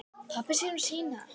Pabbi sér um sína.